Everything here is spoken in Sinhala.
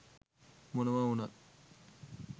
මොනවා වුණත්